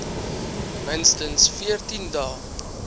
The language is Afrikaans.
minstens veertien dae